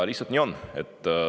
Lihtsalt nii on.